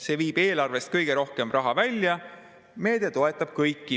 See viib eelarvest kõige enam raha välja, sest see meede toetab kõiki.